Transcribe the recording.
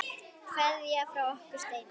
Kveðja frá okkur Steina.